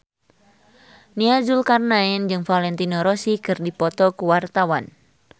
Nia Zulkarnaen jeung Valentino Rossi keur dipoto ku wartawan